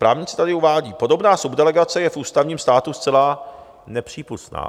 Právníci tady uvádí: Podobná subdelegace je v ústavním státu zcela nepřípustná.